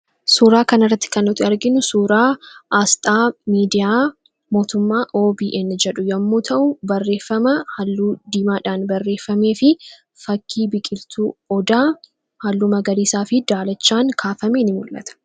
Suuraa kanarratti kan arginu asxaa miidiyaa OBN kan jedhu yoo ta'u barreeffama halluu diimaadhaan barreeffamee fi fakkii biqiltuu Odaa halluu magariisaa fi daalachaan kaafame ni mul'ata.